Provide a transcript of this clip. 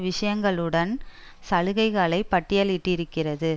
விஷயங்களுடன் சலுகைகளை பட்டியலிட்டிருக்கிறது